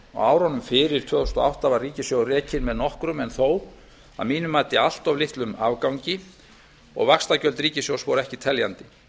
árunum fyrir tvö þúsund og átta var ríkissjóður rekinn með nokkrum en þó að mínu mati allt of litlum afgangi og vaxtagjöld ríkissjóðs voru ekki teljandi